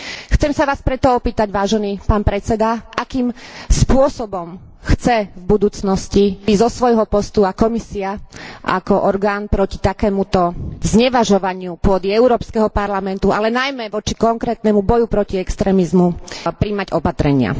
Chcem sa vás preto opýtať, vážený pán predseda, akým spôsobom chcete v budúcnosti zo svojho postu a Komisia ako orgán proti takémuto znevažovaniu pôdy Európskeho parlamentu, ale najmä voči konkrétnemu boju proti extrémizmu, prijímať opatrenia.